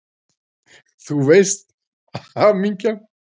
Þú veist: Hamingjan!